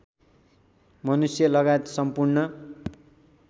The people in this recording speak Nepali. मनुष्य लगायत सम्पूर्ण